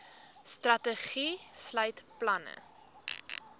strategie sluit planne